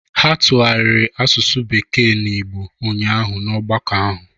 Ha tụgharịrị asụsụ bekee na Igbo ụnyahụ na ọgbakọ ahụ